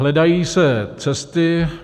Hledají se cesty.